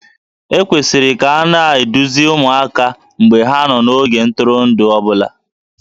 E kwesịrị ka a na-eduzi ụmụaka mgbe ha nọ n'ogige ntụrụndụ ọ bụla